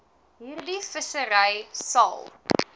hierdie vissery sal